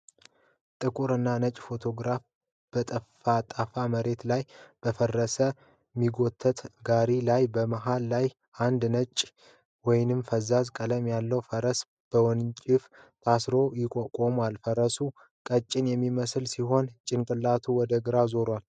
ጥቁር እና ነጭ ፎቶግራፍ በጠፍጣፋ መሬት ላይ በፈረስ የሚጎተት ጋሪ አለ። መሃል ላይ አንድ ነጭ ወይም ፈዛዛ ቀለም ያለው ፈረስ በወንጭፍ ታስሮ ቆሟል። ፈረሱ ቀጭን የሚመስል ሲሆን ጭንቅላቱ ወደ ግራ ዞሯል።